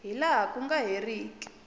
hi laha ku nga heriki